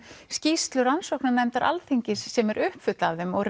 skýrslu rannsóknarnefndar Alþingis sem er uppfull af þeim og